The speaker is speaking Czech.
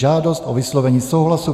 Žádost o vyslovení souhlasu